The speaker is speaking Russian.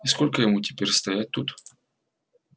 и сколько ему теперь стоять тут